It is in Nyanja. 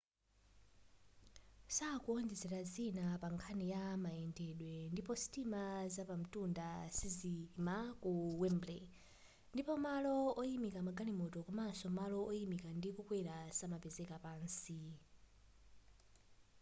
sakuonjezera zina pankhani ya mayendedwe ndipo sitima zapamtunda sizizayima ku wembley ndipo malo oyimika magalimoto komaso malo oyimika ndi kukwera samapezeka pansi